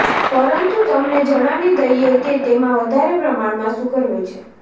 પંરતું તમને જણાવી દઇએ કે તેમા વધારે પ્રમાણમાં શુગર હોય છે